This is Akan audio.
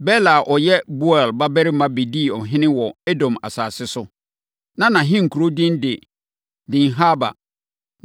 Bela a ɔyɛ Beor babarima bɛdii ɔhene wɔ Edom asase so. Na nʼahenkuro din de Dinhaba.